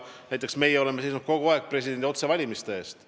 Näiteks meie oleme kogu aeg seisnud presidendi otsevalimise eest.